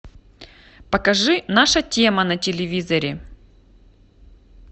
покажи наша тема на телевизоре